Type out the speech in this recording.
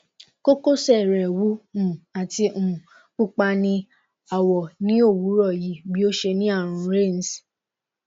kokose re wu um ati um pupa ni awo ni owuro yi bi o se ni arun reins